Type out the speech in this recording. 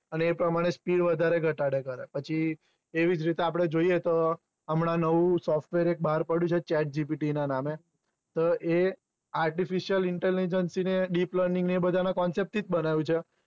એ પ્રમાણે speed થી વધારે ઘટાડો કરે પછી એવીજ રીતે આપડે જોઈએ તો અમડા નવું software એક બાર પડ્યું છે chatgpt ના નામે તો એ artificial intelligence ને deplaning concept એપ્રમાણે speed વધારે ઘટાડયાં કરે